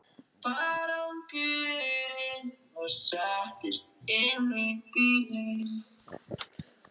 Sambýliskona hans, amma mín, Guðbjörg Kristín Árnadóttir, taldi að nafni